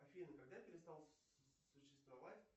афина когда перестал существовать